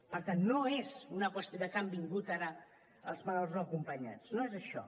per tant no és una qüestió de que hagin vingut ara els menors no acompanyats no és això